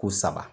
Ko saba